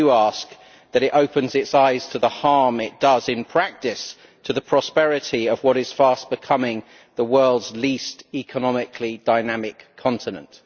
I do ask that it opens its eyes to the harm it is doing in practice to the prosperity of what is fast becoming the world's economically least dynamic continent.